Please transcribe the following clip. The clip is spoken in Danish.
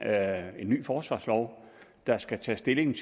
er en ny forsvarslov der skal tages stilling